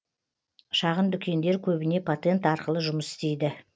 шағын дүкендер көбіне патент арқылы жұмыс істейді